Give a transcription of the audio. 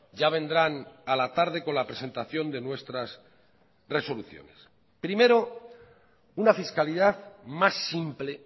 ya vendrán a la tarde con la presentación de nuestras resoluciones primero una fiscalidad más simple